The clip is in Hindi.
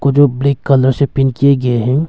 वो जो ब्लैक कलर से पेंट किए गए हैं।